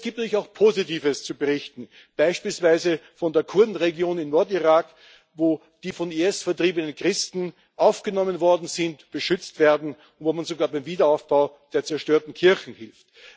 Aber es gibt natürlich auch Positives zu berichten, beispielsweise von der Kurdenregion im Nordirak, wo die vom IS vertriebenen Christen aufgenommen worden sind, beschützt werden, wo man sogar beim Wiederaufbau der zerstörten Kirchen hilft.